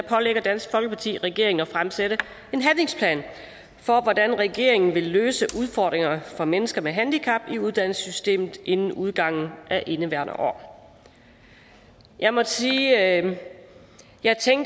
pålægger dansk folkeparti regeringen at fremsætte en handlingsplan for hvordan regeringen vil løse udfordringerne for mennesker med handicap i uddannelsessystemet inden udgangen af indeværende år jeg må sige at jeg